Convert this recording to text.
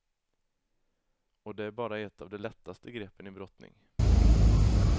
Och det är bara ett av de lättaste greppen i brottning.